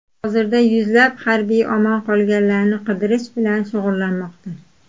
Hozirda yuzlab harbiy omon qolganlarni qidirish bilan shug‘ullanmoqda.